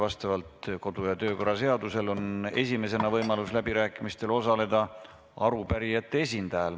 Vastavalt töö- ja kodukorra seadusele on esimesena võimalus läbirääkimistel osaleda arupärimiste esindajal.